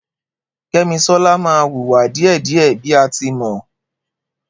Kemisola ma wùwà dìẹ̀dìẹ̀ bí a tí mọ